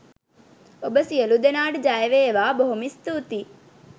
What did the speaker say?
ඔබ සියලු දෙනාට ජයවේවා බොහොම ස්තුතියි .